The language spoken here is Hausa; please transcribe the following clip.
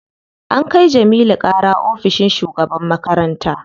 An kai Jamilu ƙara ofishin shugaban makaranta.